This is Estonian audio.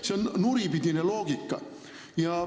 See on nuripidine loogika.